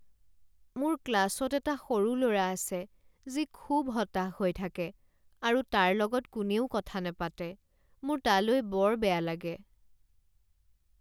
মোৰ ক্লাছত এটা সৰু ল'ৰা আছে যি খুব হতাশ হৈ থাকে আৰু তাৰ লগত কোনেও কথা নাপাতে। মোৰ তালৈ বৰ বেয়া লাগে।